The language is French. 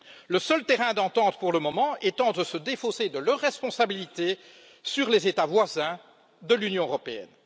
Le seul terrain d'entente pour le moment est de se défausser de leurs responsabilités sur les États voisins de l'Union européenne.